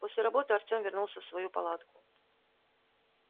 после работы артём вернулся в свою палатку